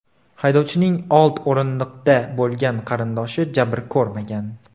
Haydovchining old o‘rindiqda bo‘lgan qarindoshi jabr ko‘rmagan.